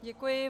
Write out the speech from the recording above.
Děkuji.